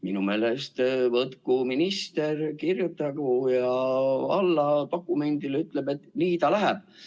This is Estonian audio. Minu meelest võtku minister kätte ja kirjutagu alla dokumendile, mis ütleb, et nii ta läheb.